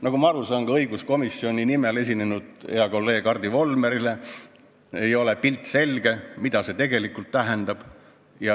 Nagu ma aru saan, ka õiguskomisjoni nimel esinenud heale kolleegile Hardi Volmerile ei ole selge, mida see tegelikult tähendab.